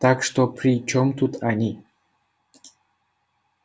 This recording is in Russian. так что при чём тут они